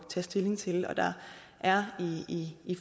tage stilling til og der er i